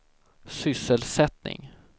sysselsättning